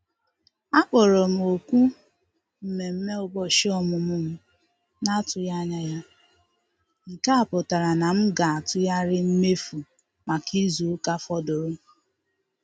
A kpọrọ m òkù mmemme ụbọchị ọmụmụ m na-atụghị anya ya, nke a pụtara na m ga-atụgharị mmefu maka izu ụka fọdụrụ